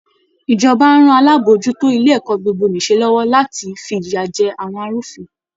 Ìjọba á ran alábòójútó ilé ẹ̀kọ́ gbogbo-nìṣe lọ́wọ́ láti fi ìyà jẹ àwọn arúfin